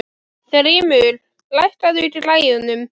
Þrymur, lækkaðu í græjunum.